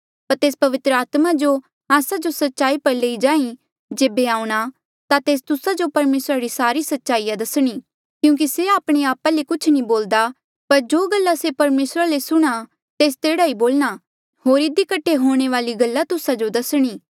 पर तेस पवित्र आत्मा जो आस्सा जो सच्चाई पर लेई जांहीं जेबे आऊंणा ता तेस तुस्सा जो परमेसरा री सारी सच्चाईया दसणी क्यूंकि से आपणे आपा ले कुछ नी बोलदा पर जो गल्ला से परमेसरा ले सुणना तेस तेह्ड़ा ई बोलणा होर इधी कठे हूंणे वाली गल्ला तुस्सा जो दसणी